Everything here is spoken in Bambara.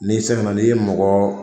N'i segin na n'i ye mɔgɔ